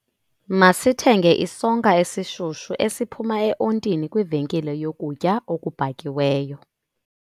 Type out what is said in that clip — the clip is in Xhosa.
Masithenge isonka esishushu esiphuma eontini kwivenkile yokutya okubhakiweyo.